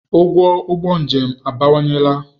Ụgwọ ụgbọ njem abawanyela.